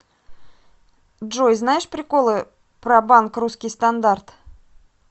джой знаешь приколыпро банк русский стандарт